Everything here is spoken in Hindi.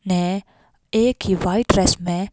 ने एक ही वाइट रेस में--